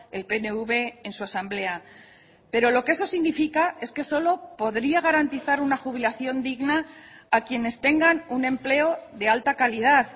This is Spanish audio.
el pnv en su asamblea pero lo que eso significa es que solo podría garantizar una jubilación digna a quienes tengan un empleo de alta calidad